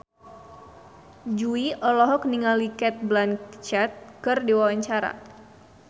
Jui olohok ningali Cate Blanchett keur diwawancara